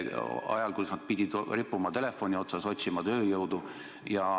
Ja seda ajal, kus nad pidid rippuma telefoni otsas, otsima tööjõudu.